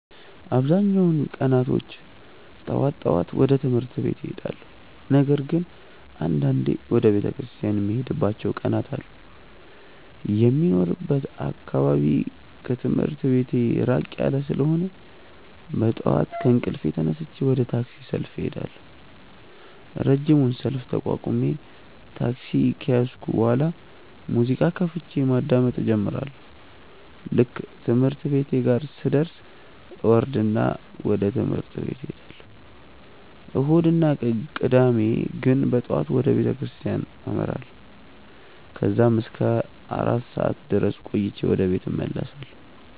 አብዛኛውን ቀናቶች ጠዋት ጠዋት ወደ ትምህርት ቤት እሄዳለሁ። ነገር ግን አንዳንዴ ወደ ቤተክርስቲያን የምሄድባቸው ቀናት አሉ። የሚኖርበት አካባቢ ከትምህርት ቤቴ ራቅ ያለ ስለሆነ በጠዋት ከእንቅልፌ ተነስቼ ወደ ታክሲ ሰልፍ እሄዳለሁ። ረጅሙን ሰልፍ ተቋቁሜ ታክሲ ከያዝኩ በኋላ ሙዚቃ ከፍቼ ማዳመጥ እጀምራለሁ። ልክ ትምህርት ቤቴ ጋር ስደርስ እወርድና ወደ ትምህርት እሄዳለሁ። እሁድ እና ቅዳሜ ግን በጠዋት ወደ ቤተክርስቲያን አመራለሁ። ከዛም እስከ አራት ሰዓት ድረስ ቆይቼ ወደ ቤት እመለሳለሁ።